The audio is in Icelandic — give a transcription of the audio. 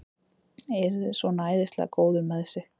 Svona æðislega góður með sig!